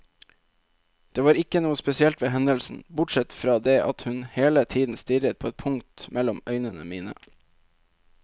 Det var ikke noe spesielt ved hendelsen, bortsett fra det at hun hele tiden stirret på et punkt mellom øynene mine.